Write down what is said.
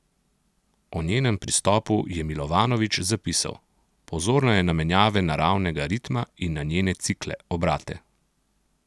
O njenem pristopu je Milovanovič zapisal: "Pozorna je na menjave naravnega ritma in na njene cikle, obrate.